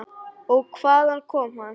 Og hvaðan kom hann?